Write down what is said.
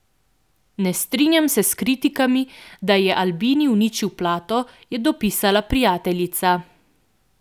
Ne strinjam se s kritikami, da je Albini uničil plato, je dopisala prijateljica.